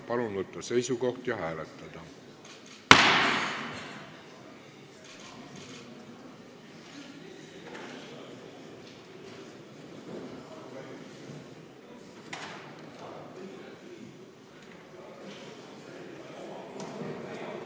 Palun võtta seisukoht ja hääletada!